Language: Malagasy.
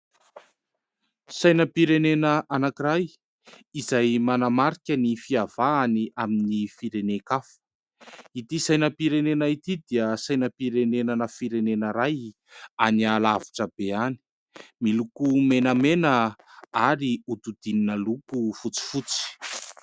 Sainam-pirenena anankiray izay manamarika ny fiavahany amin'ny firenen-kafa. Ity sainam-pirenena ity dia sainam-pirenenana firenena iray any alavitra be any, miloko menamena ary hododinina loko fotsifotsy.